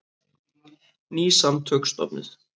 Ný samtök stofnuð